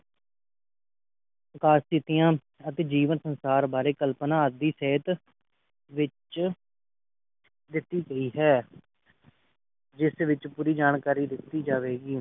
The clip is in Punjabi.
ਕਾਰਜ ਕੀਤੀਆਂ ਤੇ ਜੀਵਨ ਅਨੁਸਾਰ ਬਾਰੇ ਆਦਿ ਸਹਿਤ ਵਿਚ ਦਿਤੀ ਗਈ ਹੈ ਜਿਸ ਵਿਚ ਪੂਰੀ ਜਾਣਕਾਰੀ ਦਿਤੀ ਜਾਵੇਗੀ